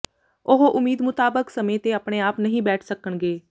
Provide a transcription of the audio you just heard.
ਉਹ ਉਮੀਦ ਮੁਤਾਬਕ ਸਮੇਂ ਤੇ ਆਪਣੇ ਆਪ ਨਹੀਂ ਬੈਠ ਸਕਣਗੇ